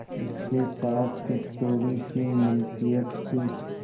उसके पास कुछ थोड़ीसी मिलकियत थी